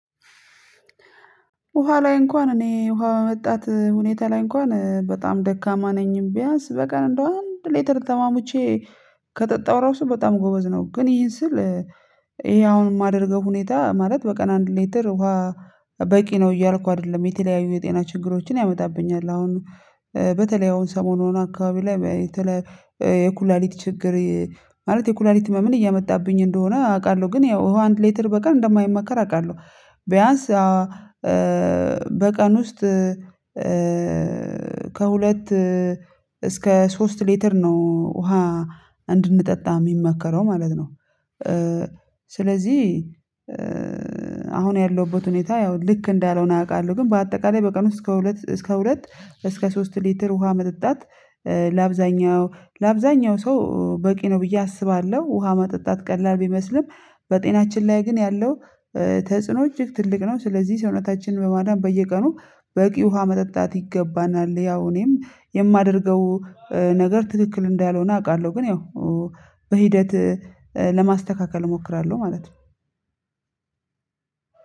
ውሃ ላይ እንኳን እኔ ውሃ መጠጣት ሁኔታ ላይ እንኳን በጣም ደካማ ነኝ ቢያንስ በቀን እንደው አንድ ሌትር ተሟሙቼ ከጠጣው ራሱ በጣም ጎበዝ ነው ግን ይሄን ስል። ይሄ አሁን የማደርገው ሁኔታ ማለት በቀን አንድ ሌተር ውሃ በቂ ነው እያልኩ አይደለም የተለያዩ የጤና ችግሮችን ያመጣብኛል አሁን። በተለይ አሁን ሰሞኑን አካባቢ ላይ የተለ የኩላሊት ችግር ማለት የኩላሊቲ ህመምን እያመጣብኝ እንደሆነ አውቃለሁ ግን ያው ውሃ አንድ ሌተር በቀን እንደማይመከር አውቃለሁ። ቢያንስ በቀን ውስጥ ከሁለት እስከ ሶስት ሊትር ነው ውሃ እንድንጠጣ የሚመከረው ማለት ነው። ስለዚህ አሁን ያለሁበት ሁኔታ ያው ልክ እንዳልሆነ አውቃለሁ ግን በአጠቃላይ በቀን ውስጥ እስከ ሁለት እስከ ሁለት እስከ ሶስት ሊትር ውሃ መጠጣት ለአብዛኛው ለአብዛኛው ሰው በቂ ነው ብዬ አስባለሁ። ውሃ መጠጣት ቀላል ቢመስልም በጤናችን ላይ ግን ያለው ተጽዕኖ እጅግ ትልቅ ነው። ስለዚህ ሰውነታችን ለማዳን በየቀኑ በቂ ውሃ መጠጣት ይገባናል። ያው እኔም የማደርገው ነገር ትክክል እንዳልሆነ አውቃለሁ ግን ያው በሂደት ለማስተካከል እሞክራለሁ ማለት ነው።